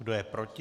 Kdo je proti?